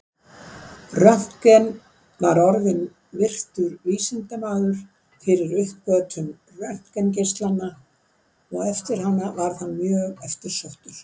Röntgen var orðinn virtur vísindamaður fyrir uppgötvun röntgengeislanna og eftir hana varð hann mjög eftirsóttur.